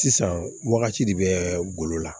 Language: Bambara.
Sisan wagati de bɛ golo la